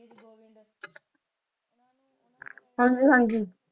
ਹਾਂਜੀ ਹਾਂਜੀ